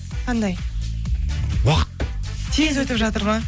қандай уақыт тез өтіп жатыр ма